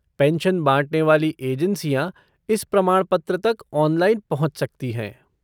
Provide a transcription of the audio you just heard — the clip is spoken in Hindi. पेंशन बाँटने वाली एजेंसियाँ इस प्रमाणपत्र तक ऑनलाइन पहुँच सकती हैं।